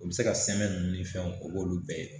U bɛ se ka sɛmɛni ni fɛnw o b'olu bɛɛ ye